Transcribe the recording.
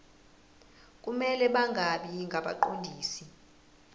kumele bangabi ngabaqondisi